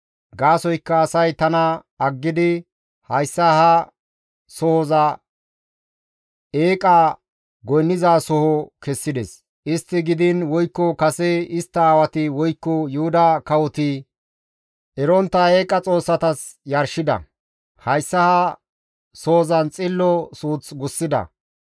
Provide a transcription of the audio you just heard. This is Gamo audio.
Gaasoykka asay tana aggidi hayssa ha sohoza eeqa goynnizasoho kessides; istti gidiin woykko kase istta aawati, woykko Yuhuda kawoti erontta eeqa xoossatas yarshida; hayssa ha sohozan xillo suuth gussida.